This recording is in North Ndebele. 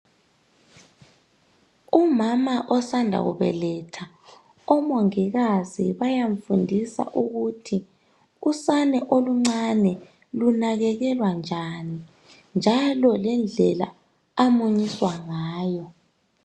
Umama osanda kubeletha, omongikazi bayamfundisa ukuthi usane oluncane lunakekelwa njani .Njalo lendlela amunyiswa ngayo.